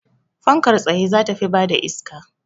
Fankar tsaye za ta fi bada iska